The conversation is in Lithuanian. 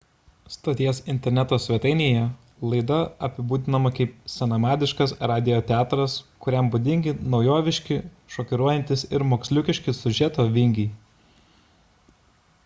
stoties interneto svetainėje laida apibūdinama kaip senamadiškas radijo teatras kuriam būdingi naujoviški šokiruojantys ir moksliukiški siužeto vingiai